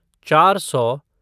चार सौ